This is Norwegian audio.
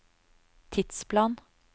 tidsplan